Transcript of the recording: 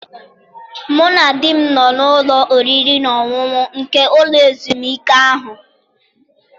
Mụ na di m nọ n'ụlọ oriri na ọṅụṅụ nke ụlọ ezumike ahụ.